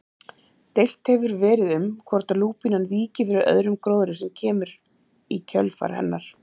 Deilt hefur verið um hvort lúpínan víki fyrir öðrum gróðri sem kemur í kjölfar hennar.